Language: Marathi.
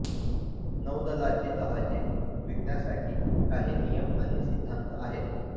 नौदलाची जहाचे विकण्यासाठी काही नियम आणि सिद्धांत आहेत